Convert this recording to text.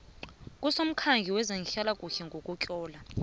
kusomkhandlu wezehlalakuhle ngokutlola